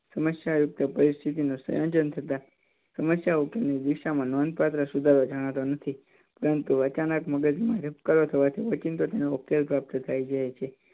સમસ્યા યુક્ત પરિસ્થિતિ નું સયોજન થતાં સમસ્યા ઉકેલ ની દિશા માં નોંધપાત્ર સુધારો જાણતો નથી. પરંતુ અચાનક મગજ માં ઓચિંતો જ તેનો ઉકેલ પ્રાપ્ત થઈ જાય છે